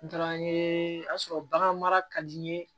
N taara n ye a sɔrɔ bagan mara ka di n ye